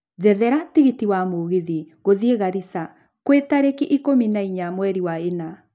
njethera tigiti wa mũgithi gũthiĩgarissa kwĩtarĩki ikũmi na inya mweri wa ĩna